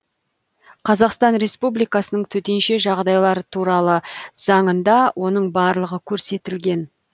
қазақстан республикасының төтенше жағдайлар туралы заңында оның барлығы көрсетілген